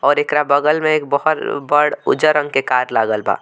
और एकरा बगल में एक बहड़ बड़ उज्जर रंग के कार लागल बा।